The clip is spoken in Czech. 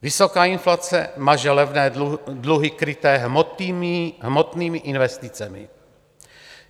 Vysoká inflace maže levné dluhy kryté hmotnými investicemi.